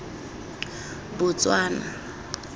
botswana